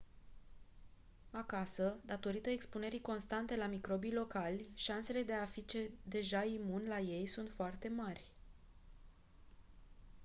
acasă datorită expunerii constante la microbii locali șansele de a fi deja imun la ei sunt foarte mari